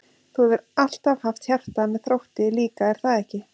Þú hefur alltaf haft hjarta með Þrótti líka er það ekki?